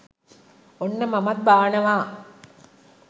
ඔන්න මමත් බානවා.